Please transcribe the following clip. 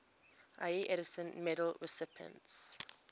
ieee edison medal recipients